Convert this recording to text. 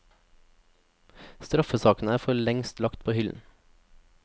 Straffesakene er for lengst lagt på hyllen.